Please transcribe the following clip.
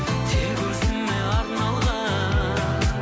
тек өзіңе арналған